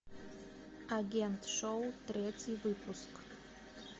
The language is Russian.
агент шоу третий выпуск